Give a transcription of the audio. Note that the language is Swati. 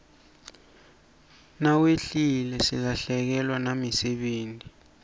nawehlile silahlekewa nayimisebeti